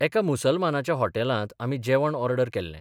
एका मुसलमानाच्या हॉटेलांत आमी जेवण ऑर्डर केल्लें.